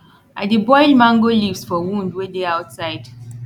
i dey boil mango leaves for wound wey dey outside